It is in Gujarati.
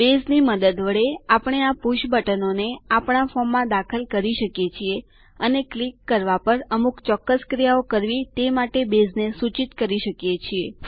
બેઝની મદદ વડે આપણે આ પુષ બટનોને આપણા ફોર્મમાં દાખલ કરી શકીએ છીએ અને ક્લિક કરવાં પર અમુક ચોક્કસ ક્રિયાઓ કરવી તે માટે બેઝને સૂચિત કરી શકીએ છીએ